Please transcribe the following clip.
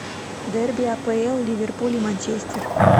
дерби апл ливерпуль и манчестер